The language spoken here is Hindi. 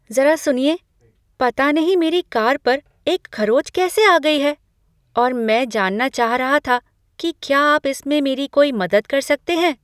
ज़रा सुनिए! पता नहीं मेरी कार पर एक खरोंच कैसे आ गई है और मैं जानना चाह रहा था कि क्या आप इसमें मेरी कोई मदद कर सकते हैं।